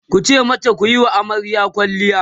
tace mata "kuyi wa amaryar kwalliya!"